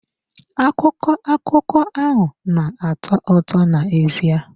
Akụkọ akụkọ ahụ na-atọ ụtọ n'ezie.